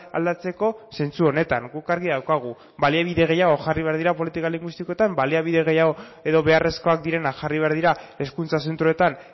aldatzeko zentzu honetan guk argi daukagu baliabide gehiago jarri behar dira politika linguistikoetan baliabide gehiago edo beharrezkoak direnak jarri behar dira hezkuntza zentroetan